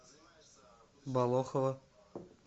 болохово